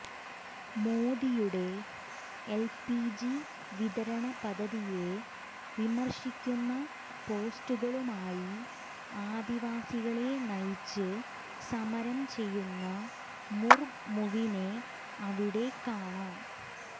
മോദിയുടെ എല്പിജി വിതരണ പദ്ധതിയെ വിമർശിക്കുന്ന പോസ്റ്ററുകളുമായി ആദിവാസികളെ നയിച്ച് സമരം ചെയ്യുന്ന മുർമുവിനെ അവിടെ കാണാം